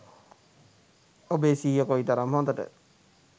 ඔබේ සිහිය කොයිතරම් හොඳට